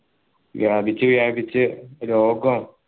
വ്യാപിച്ചു വ്യാപിച്ചു രോഗം